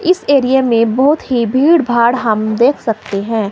इस एरिये में बहोत ही भीड़ भाड़ हम देख सकते है।